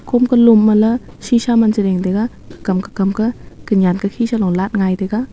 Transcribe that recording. kom ka lom manla sheesha man chi ding taga ko kam kokam kah konyan kokhi salung light ngaitaga.